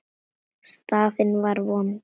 Staðan var vond.